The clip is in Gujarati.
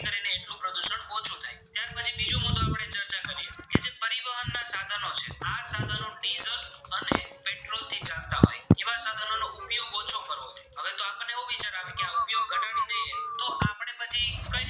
તો આપણે પછી કય